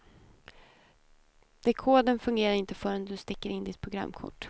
Dekodern fungerar inte förrän du sticker in ditt programkort.